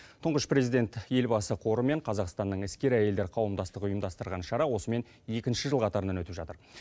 тұңғыш президент елбасы қоры мен қазақстанның іскер әйелдер қауымдастығы ұйымдастырған шара осымен екінші жыл қатарынан өтіп жатыр